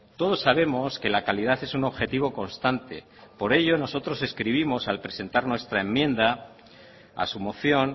todos sabemos que la calidad es un objetivo constante por ello nosotros escribimos al presentar nuestra enmienda a su moción